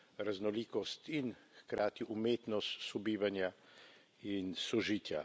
raznolikost in hkrati umetnost sobivanja in sožitja.